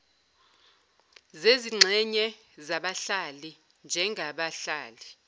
zezingxenye zabahlali njengabahlali